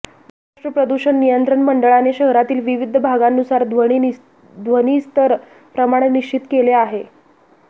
महाराष्ट्र प्रदूषण नियंत्रण मंडळाने शहरातील विविध भागांनुसार ध्वनिस्तर प्रमाण निश्चित केले आहे